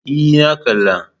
E, na kalla.